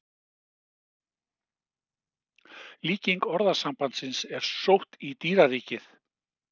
Líking orðasambandsins er sótt í dýraríkið.